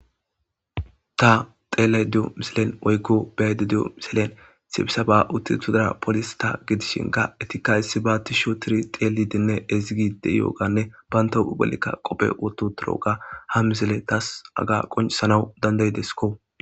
Ta xeele di'o miselen oykko bayede dio miselen sibisaba uttiethodara polis ta gidishin ka etikka issi ba ti sho tiri xeeli dinne ezigi deiyooganne bayntohuubelikka qophe woto toroga ha misele taas aga qoncisanaw dandayideskko